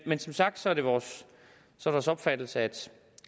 men som sagt er det vores opfattelse at